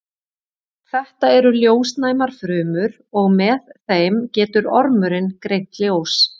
Þetta eru ljósnæmar frumur og með þeim getur ormurinn greint ljós.